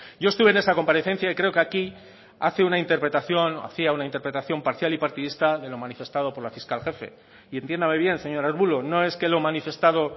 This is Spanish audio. yo estuve en esa comparecencia y creo que aquí hace una interpretación o hacía una interpretación parcial y partidista de lo manifestado por la fiscal jefe y entiéndame bien señor arbulo no es que lo manifestado